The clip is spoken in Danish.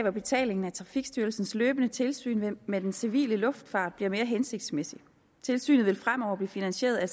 at betalingen af trafikstyrelsens løbende tilsyn med den civile luftfart bliver mere hensigtsmæssig tilsynet vil fremover blive finansieret af